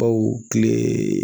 Baw tile